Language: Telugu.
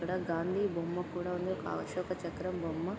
అక్కడ గాంధీ బొమ్మ కూడా ఉంది. ఒక అశోక చక్రం బొమ్మ--